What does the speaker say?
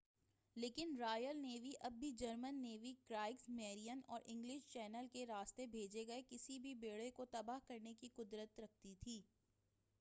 لیکن Royal Navy اب بھی جرمن نیوی ”کرائگس میرین اور انگلش چینل کے راستے بھیجے گئے کسی بھی بیڑے کو تباہ کرنے کی قدرت رکھتی تھی۔